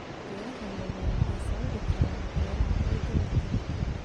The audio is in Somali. Beeraha waaweyni waxay sababi karaan waxyeelo ciidda waqti ka dib.